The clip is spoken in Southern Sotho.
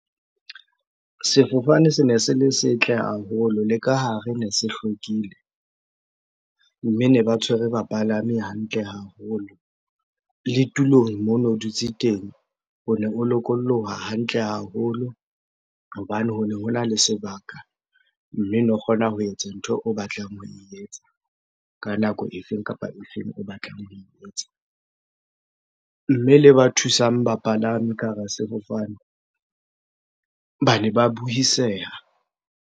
Sefofane sene se le setle haholo, le ka hare ne se hlwekile. Mme ne ba tshwere bapalami hantle haholo. Le tulong mono dutse teng, o ne o lokoloha hantle haholo hobane hone hona le sebaka. Mme no kgona ho etsa ntho o batlang ho e etsa ka nako e feng kapa efeng o batlang ho e etsa. Mme le ba thusang bapalami ka hara sefofane, bane ba buiseha.